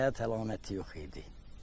Həyat əlaməti yox idi.